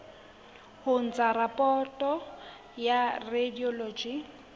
ho ntsha raporoto ya radiology